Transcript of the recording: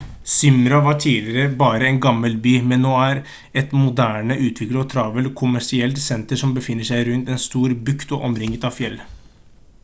smyrna var tidligere bare en gammel by men er nå et moderne utviklet og travelt kommersielt senter som befinner seg rundt en stor bukt og omringet av fjell